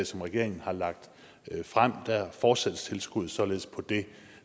som regeringen har lagt frem fortsættes tilskuddet således på det